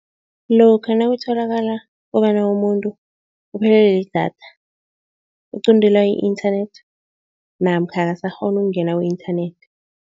Lokha nakutholakala kobana umuntu uphelelwe lidatha, uquntelwa i-internet namkha akasakghoni ukungena ku-internet.